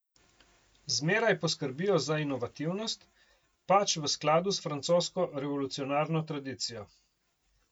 Zmeraj poskrbijo za inovativnost, pač v skladu s francosko revolucionarno tradicijo.